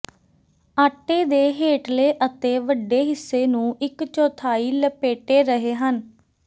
ਆਟੇ ਦੇ ਹੇਠਲੇ ਅਤੇ ਵੱਡੇ ਹਿੱਸੇ ਨੂੰ ਇੱਕ ਚੌਥਾਈ ਲਪੇਟੇ ਰਹੇ ਹਨ